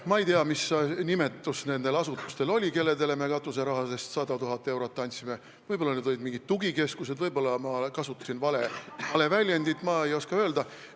Ma ei tea, mis nimetus nendel asutustel oli, kellele me katuserahast 100 000 eurot andsime, võib-olla olid need mingid tugikeskused, võib-olla ma kasutasin vale väljendit, ma ei oska öelda.